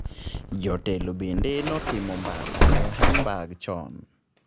Jotelo bende notimo mbaka e Hamburg chon.